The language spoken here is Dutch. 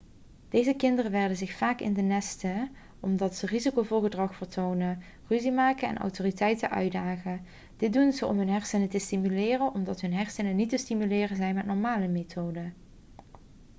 deze kinderen werken zich vaak in de nesten omdat ze risicovol gedrag vertonen ruzie maken en autoriteiten uitdagen' dit doen ze om hun hersenen te stimuleren omdat hun hersenen niet te stimuleren zijn met normale methoden